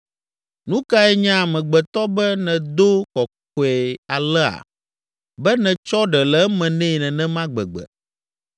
“Nu kae nye amegbetɔ be nèdo kɔkɔe alea, be nètsɔ ɖe le eme nɛ nenema gbegbe,